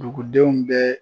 Dugudenw bɛɛ